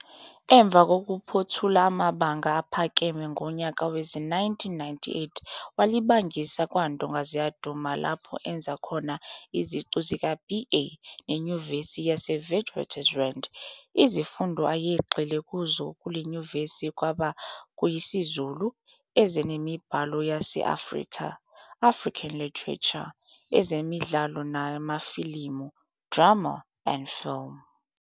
Emva kokuphothula amabanga aphakeme ngonyaka wezi-1998 walibangisa kwaNdongaziyaduma laphao enza khona iziqu zika-"BA" neNyuvesi yaseWitswatersrand. Izifundo ayegxile kuzo kuleNyuvesi kwabe kuyisiZulu, ezemiBhalo yase-Afrika, "African Literature", ezeMidlalo namaFilimu, "Drama and Film".